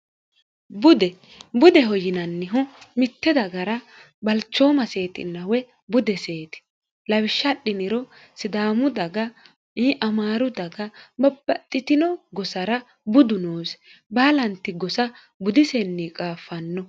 dbudeho yinannihu mitte dagara balchooma seexinawe bude seeti lawishshadhiniro sidaamu daga yamaaru daga mabbaxxitino gosara budu noosi baalanti gosa budisenni qaaffanno